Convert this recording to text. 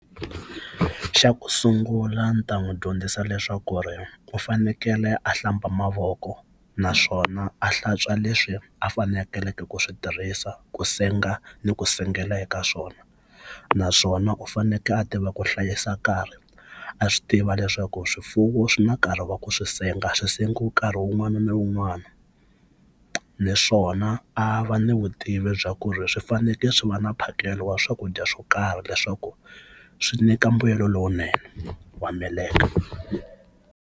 Xa ku sungula ni ta n'wi dyondzisa leswaku ku ri u fanekele a hlamba mavoko naswona a hlantswa leswi a faneleke ku swi tirhisa ku senga ni ku sengela eka swona naswona u fanekele a tiva ku hlayisa nkarhi a swi tiva leswaku swifuwo swi na nkarhi wa ku swi senga swi sengiwe nkarhi wun'wana na wun'wana ni swi swona a va ni vutivi bya ku ri swi fanekele swi va na mphakelo wa swakudya swo karhi leswaku swi nyika mbuyelo lowunene wa meleke.